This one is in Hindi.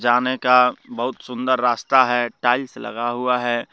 जाने का बहुत सुंदर रास्ता है टाइल्स लगा हुआ है।